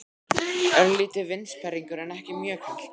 Örlítill vindsperringur en ekki mjög kalt.